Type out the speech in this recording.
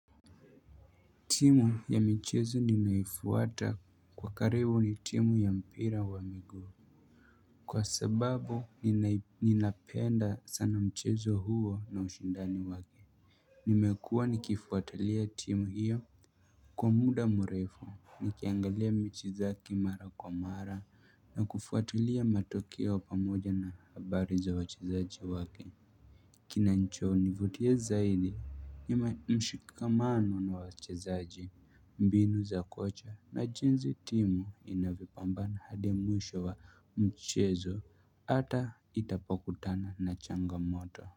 Team ya michezo ninaifuata kwa karibu ni timu ya mpira wa miguu. Kwa sababu ninai ninapenda sana mchezo huo na ushindani wake. Nimekua nikifuatalia team hiyo. Kwa muda mrefu nikiangalia michezo yake mara kwa mara na kufuatalia matokeo pamoja na habari za wachezaji wake. Kinanchonivutia zaidi ni ma mshikamano na wachezaji mbinu za kocha na jinzi timu inavyopambana hadi mwisho wa mchezo ata itapokutana na changamoto.